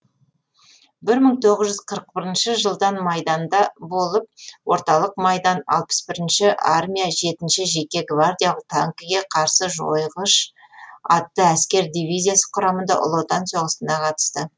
бір мың тоғыз жүз қырық бірінші жылдан майданда болып орталық майдан алпыс бірінші армия жетінші жеке гвардиялық танкіге қарсы жойғыш атты әскер дивизиясы құрамында ұлы отан соғысына қатысты